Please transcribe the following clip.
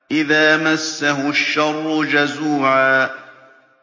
إِذَا مَسَّهُ الشَّرُّ جَزُوعًا